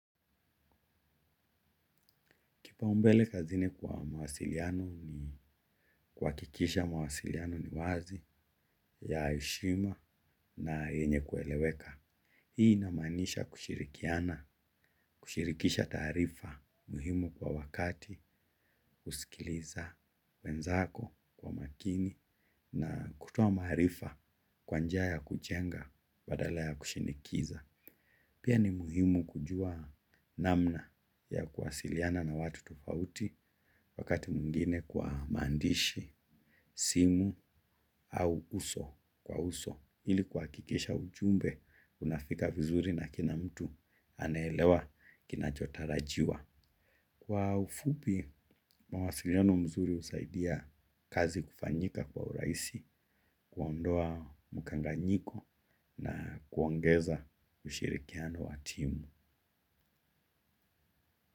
Kipaumbele kazini kwa mawasiliano ni kuhakikisha mawasiliano ni wazi ya heshima na yenye kueleweka. Hii inamanisha kushirikiana, kushirikisha taarifa muhimu kwa wakati kusikiliza wenzako kwa makini na kutoa maarifa kwa njia ya kujenga badala ya kushinikiza. Pia ni muhimu kujua namna ya kuwasiliana na watu tofauti wakati mwingine kwa maandishi, simu au uso kwa uso ili kuhakikisha ujumbe unafika vizuri na kila mtu anelewa kinachotarajiwa. Kwa ufupi mawasiliano mzuri husaidia kazi kufanyika kwa urahisi kuondoa mkanganyiko na kuongeza ushirikiano wa timu.